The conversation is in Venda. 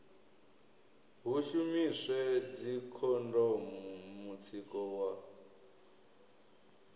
hu shumiswe dzikhondomu mutsiko wa